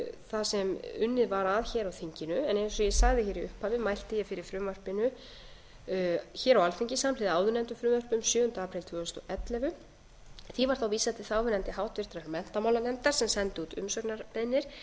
það sem unnið var að hér á þinginu en eins og ég gangi hér í upphafi mælti ég fyrir frumvarpinu hér á alþingi samhliða áðunefnu frumvörpunum sjöunda apríl tvö þúsund og ellefu því var þá vísað til þáverandi háttvirtur menntamálanefndar sem sendi út umsagnarbeiðnir en